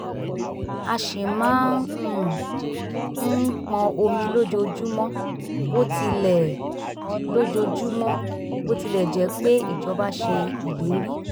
a ṣì máa um ń pọn omi lójoojúmọ́ bó tilẹ̀ lójoojúmọ́ bó tilẹ̀ jẹ́ pé ijọba ṣe ìlérí